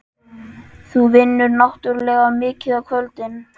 Þú vinnur náttúrlega mikið á kvöldin.